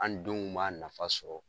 An denw b'a nafa sɔrɔ .